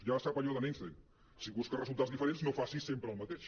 ja sap allò de l’einstein si busques re·sultats diferents no facis sempre el mateix